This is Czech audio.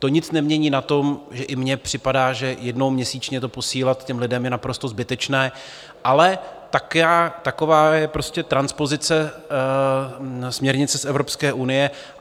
To nic nemění na tom, že i mně připadá, že jednou měsíčně to posílat těm lidem je naprosto zbytečné, ale taková je prostě transpozice směrnice z Evropské unie.